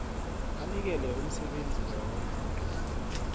anikele umsebenzi loyo